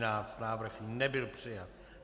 Návrh nebyl přijat.